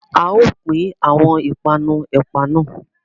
A o pin awọn ipanu ẹpa nà